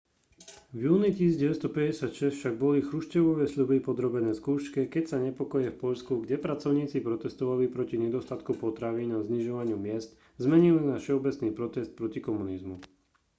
v júni 1956 však boli chruščevove sľuby podrobené skúške keď sa nepokoje v poľsku kde pracovníci protestovali proti nedostatku potravín a znižovaniu miezd zmenili na všeobecný protest proti komunizmu